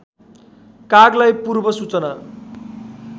कागलाई पूर्व सूचना